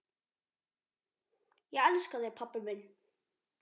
Ég elska þig, pabbi minn.